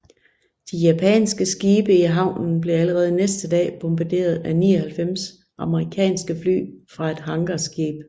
De japanske skibe i havnen blev allerede næste dag bombarderet af 99 amerikanske fly fra et hangarskib